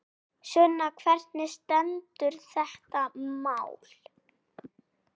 Sunna, hvernig stendur þetta mál?